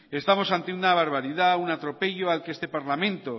estamos ante una barbaridad un atropello al que este parlamento